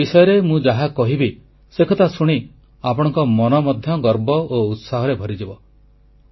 ଏମାନଙ୍କ ବିଷୟରେ ମୁଁ ଯାହା କହିବି ସେକଥା ଶୁଣି ଆପଣଙ୍କ ମନ ମଧ୍ୟ ଗର୍ବ ଓ ଉତ୍ସାହରେ ଭରିଯିବ